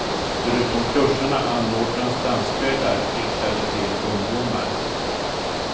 Förutom kurserna anordnas danskvällar riktade till ungdomar.